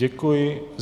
Děkuji.